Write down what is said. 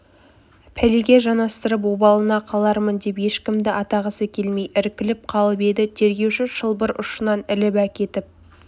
пәлеге жанастырып обалына қалармын деп ешкімді атағысы келмей іркіліп қалып еді тергеуші шылбыр ұшынан іліп әкетіп